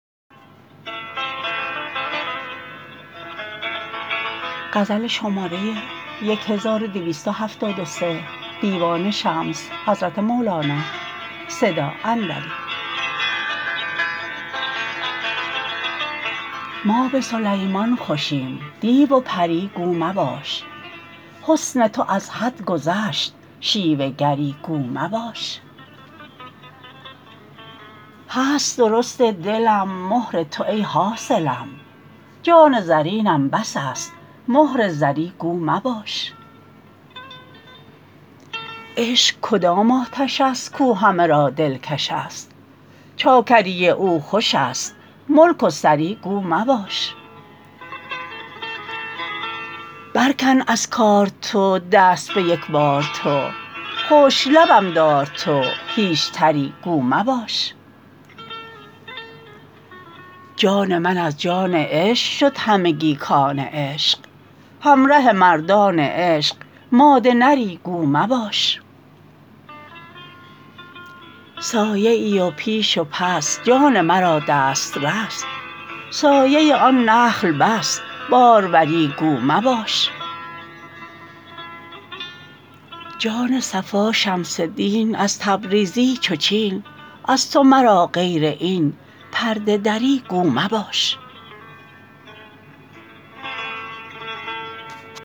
ما به سلیمان خوشیم دیو و پری گو مباش حسن تو از حد گذشت شیوه گری گو مباش هست درست دلم مهر تو ای حاصلم جان زرینم بس است مهر زری گو مباش عشق کدام آتش است کو همه را دلکش است چاکری او خوش است ملک و سری گو مباش برکن از کار تو دست به یک بار تو خشک لبم دار تو هیچ تری گو مباش جان من از جان عشق شد همگی کان عشق همره مردان عشق ماده نری گو مباش سایه تو پیش و پس جان مرا دسترس سایه آن نخل بس باروری گو مباش جان صفا شمس دین از تبریزی چو چین از تو مرا غیر این پرده دری گو مباش